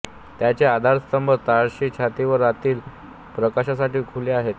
त्यांचे आधारस्तंभ तळाशी छतावरील आतील प्रकाशासाठी खुले आहेत